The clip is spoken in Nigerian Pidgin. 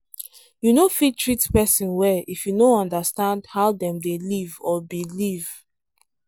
you no fit treat person well if you no understand how dem dey live or believe